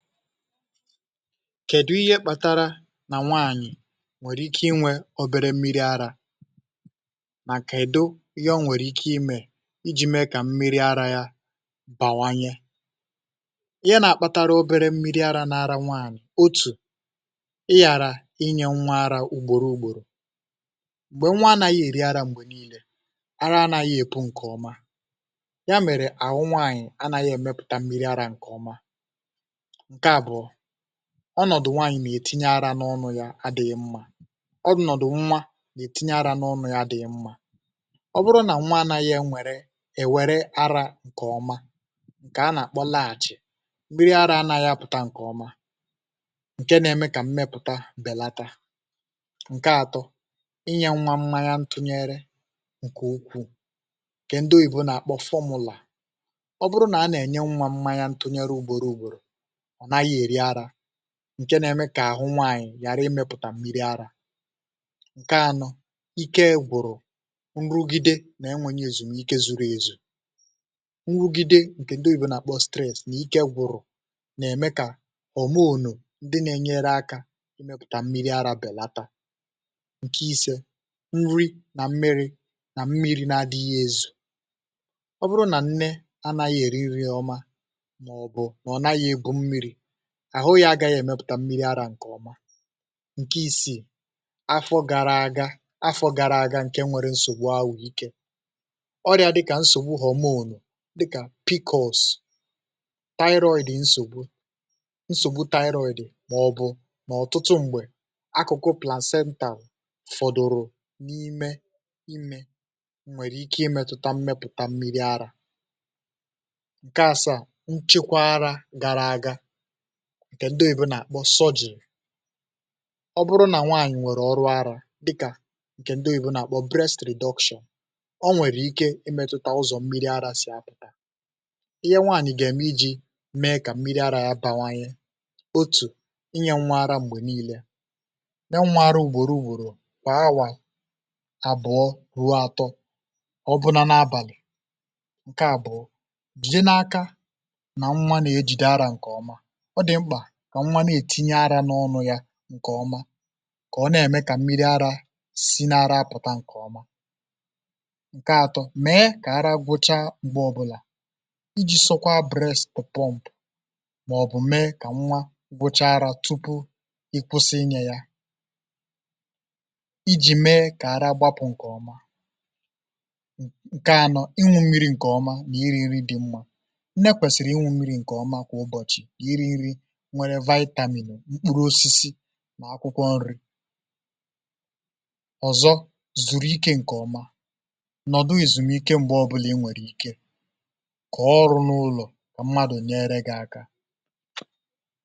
kèdụ ihé kpatara nà nwaànyị̀ nwèrè ike inwė obere mmiri arȧ mà kèdụ ihé o nwèrè ike imė iji̇ mee kà m̀miri ara yȧ bàwanye? Ihé nà-akpȧtara obere mmiri ara n’ara nwaànyị̀ otù ị yàrà inye nwa arȧ ugbòrò ugbòrò, m̀gbè nwa anȧghị̇ èri ara m̀gbè niilė ara anàghị̇ èpù ǹkè ọma ya mèrè ahụ nwaànyị̀ anàghị èmepụ̀ta mmiri ara ǹkè ọma. Ǹkè abụ̀ọ, ọnọ̀dụ̀ nwaànyị̀ nà-ètinye ara n’ọnụ̇ yȧ adịghị mmȧ ọnọ̀dụ̀ nwa nà-ètinye ara n’ọnụ̇ yȧ dịghị mmȧ. Ọ bụrụ nà nwa anȧghị̇ e nwèrè èwère arȧ ǹkè ọma ǹkè a nà-àkpọ laach mmịrị ara anȧghị̇ apụ̀ta ǹkè ọma ǹke na-eme kà mmepụ̀ta bèlata. Ǹkè àtọ́ inyė nwa mmanya ntụnyere ǹkè ukwuù ǹkè ndị oyìbo nà-àkpọ formula ọ bụrụ nà a nà-ènye nwa mmanya ntụnyere ugbȯru ugbòrò ọ naghị eri ara ǹke nà-ẹmẹ kà àhụ nwàànyị̀ ghàra imẹ̇pụ̀tà mmiri arȧ. Ǹkè anọ̇, ike gwụ̀rụ̀ nrụgide nà enwènyè èzumike zuru ezù nrụgide ǹkè ndị oyìbè nà-àkpọ stress nà ike gwụ̀rụ̀ nà-ẹmẹ kà homonu ndị na-enyere akȧ ị mẹpụ̀tà mmiri arȧ bèlatȧ. Ǹkè isė, nrị nà mmiri̇ nà mmiri̇ na-adịghị̇ ẹ̀zụ, ọ bụrụ nà nnẹ anȧghị̇ èri nri ọmá mà ọ̀ bụ̀ nà ọ naghị̇ ebu mmiri̇ àhụ yȧ agaghị èmepụ̀ta mmiri̇ arȧ ǹkè ọma. Nkè isiì, afọ gàrà aga, afọ gárà aga ǹkè nwere nsògbu ahụ̀ike ọrịa dịkà nsògbu homonù dịkà piikọs, toiroid nsògbu nsògbu toiroid mà ọ̀ bụ̀ mà ọ̀tụtụ m̀gbè akụkụ plancental fọdụ̀rụ̀ n’ime imė nwèrè ike ị̀ metụta mmepụ̀ta mmiri̇ arȧ. Nkè asaà, nchekwa ara gara aga ǹkè ndị òyibo nà àkpọ suggery ọ bụrụ nà nwaànyị̀ nwèrè ọrụ arȧ dịkà ǹkè ndị òyibo nà àkpọ breast reduction ọ nwèrè ike ị mėtụ̇tȧ ụzọ̀ mmiri arȧ sì apụ̀ta. Ihé nwaànyị̀ gà ème iji̇ mee kà mmiri arȧ ya bàwanye otù, inye nwa ara m̀gbè niilė nyé nwa arȧ ùgbòro ùgbòrò kwà awà àbụ̀ọ ruo atọ̇ ọ bụnȧ n’abàlị̀. Nkè àbụ̀ọ jide n’aka nà nwa nà ejìde arȧ ǹkè ọma ọ dị mkpà kà nwa na-ètinye arȧ n’ọnụ̇ ya ǹkè ọma kà ọ na-ème kà mmiri arȧ si n’ara apụ̀ta ǹkè ọmá. Ǹkè àtọ́, mée kà ara gwụcha m̀gbè ọbụlà iji sọkwaa brest pomp màọ̀bụ̀ mee kà nwa gwụcha arȧ tupu ị kwụsị inye ya ijì mee kà ara gbapụ̀ ǹkè ọmá. Ǹkè ànọ́, ịṅụ mmiri̇ ǹkè ọma nà írí nri dị mma, nné kwèsìrì ịṅụ mmiri̇ ǹkè ọma kwà ụbọ̀chị, ná írí nri nwéré vitamin, mkpụrụ osisi mà akwụkwọ nri, ọ̀zọ̀ zuru ike ǹkè ọma nọ̀dụ èzùmike mgbe ọbụlà i nwèrè ike kà ọrụ n’ụlọ̀ kà mmadù nyere gị̇ aka.